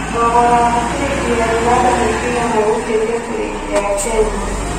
thogora wa ciringi ya Uganda nĩ cigana gũkĩria ciringi ya Kenya